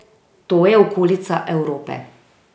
To je okolica Evrope.